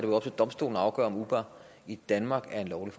afgøre om uber i danmark er en lovlig